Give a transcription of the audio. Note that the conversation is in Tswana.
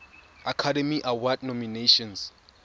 academy award nominations